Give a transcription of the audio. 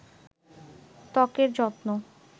তকের যত্ন